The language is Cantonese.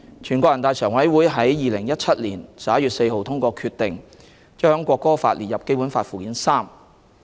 全國人大常委會在2017年11月4日通過決定，將《國歌法》列入《基本法》附件三。